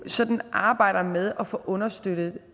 sådan arbejder med at få understøttet